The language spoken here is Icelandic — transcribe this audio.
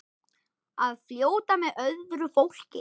Að fljóta með öðru fólki.